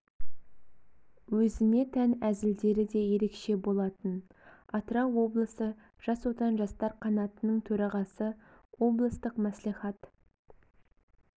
өзіне тән әзілдері де ерекше болатын атырау облысы жас отан жастар қанатының төрағасы облыстық маслихат